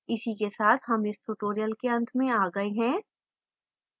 इसी के साथ हम इस tutorial के अंत में आ गए हैं